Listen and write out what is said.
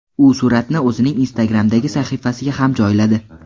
U suratni o‘zining Instagram’dagi sahifasiga ham joyladi.